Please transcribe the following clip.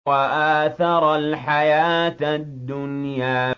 وَآثَرَ الْحَيَاةَ الدُّنْيَا